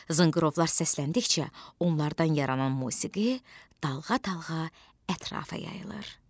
Zınqırovlar səsləndikcə onlardan yaranan musiqi dalğa-dalğa ətrafa yayılır.